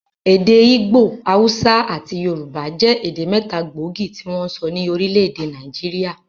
Èdè ìgbò, haúsá àti yorùbá jẹ́ èdè mẹ́ta gbóògì tí wọ́n ń sọ ní orílẹ̀-èdè Nàìjíríà.